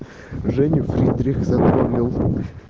женя фридрих запомнил